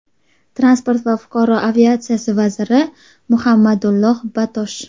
Transport va fuqaro aviatsiyasi vaziri Muhammadulloh Batosh.